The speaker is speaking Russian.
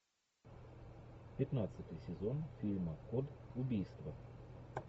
пятнадцатый сезон фильма код убийства